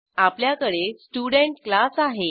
आपल्याकडे student class आहे